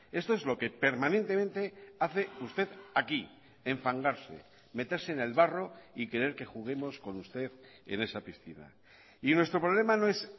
esto es lo que permanentemente hace usted aquí enfangarse meterse en el barro y querer que juguemos con usted en esa piscina y nuestro problema no es